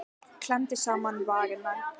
Klemmdi saman varirnar.